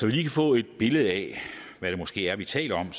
vi kan få et billede af hvad det måske er vi taler om